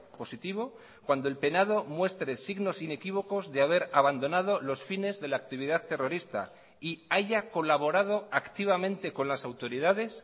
positivo cuando el penado muestre signos inequívocos de haber abandonado los fines de la actividad terrorista y haya colaborado activamente con las autoridades